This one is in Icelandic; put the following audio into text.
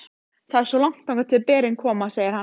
Það er svo langt þangað til berin koma, segir hann.